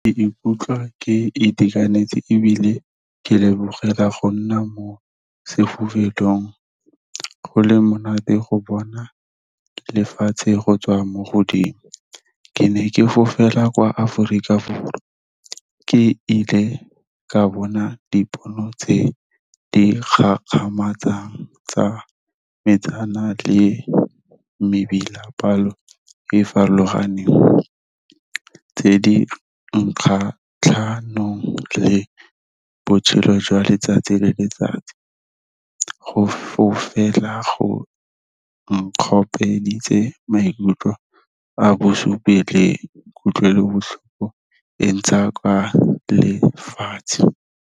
Ke ikutlwa ke itekanetse ebile ke lebogela go nna mo sefofelong, go le monate go bona lefatshe go tswa mo godimo. Ke ne ke fofela kwa Aforika Borwa, ke ile ka bona dipono tse di kgakgamatsang tsa metsana le mebila e farologaneng, tse di kgatlhanong le botshelo jwa letsatsi le letsatsi. Go fofela go maikutlo a bo le kutlwelobotlhoko e ntsha kwa lefatshe.